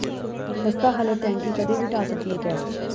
ਖਸਤਾ ਹਾਲਤ ਟੈਂਕੀ ਕਦੇ ਵੀ ਢਾਹ ਸਕਦੀ ਏ ਕਹਿਰ